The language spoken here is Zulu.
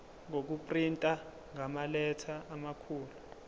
ngokuprinta ngamaletha amakhulu